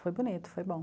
Foi bonito, foi bom.